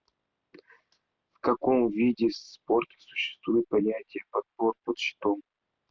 в каком виде спорта существует понятие подбор под щитом